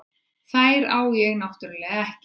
Þær á ég náttúrlega ekki.